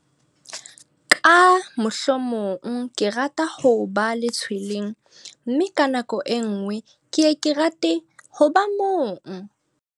Ka mohlomong ke rata ho ba letshweleng mme ka nako e nngwe ke ye ke rate ho ba mong.